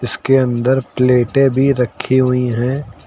इसके अंदर प्लेटें भी रखी हुई हैं।